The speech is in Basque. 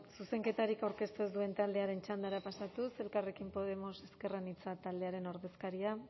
zuzenketarik aurkeztu ez duen taldearen txandara pasatuz elkarrekin podemos ezker anitza taldearen ordezkaria